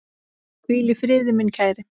Hvíl í friði, minn kæri.